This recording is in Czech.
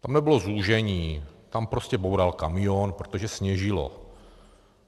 Tam nebylo zúžení, tam prostě boural kamion, protože sněžilo.